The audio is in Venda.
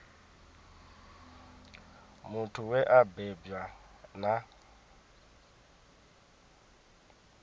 muthu we a bebwa na